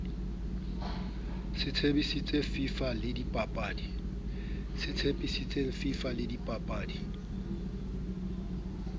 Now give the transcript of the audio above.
se tshepisitseng fifa le dibapadi